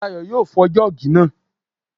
Dayọ̀ yóò fọ́ jọ́ọ̀gì náà